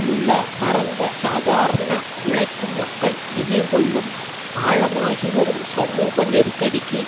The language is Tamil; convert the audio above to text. உள்ள பரந்த சாதாரண உழைக்கும் மக்கள் எதிர் கொள்ளும் ஆழமாகி வரும் சமூக நெருக்கடிக்கு